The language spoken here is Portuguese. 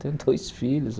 Tenho dois filhos.